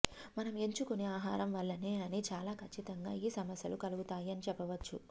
మనం ఎంచుకునే ఆహారం వల్లనే అని చాలా ఖచ్చితంగా ఈ సమస్యలు కలుగుతాయి అని చెప్పవచ్చు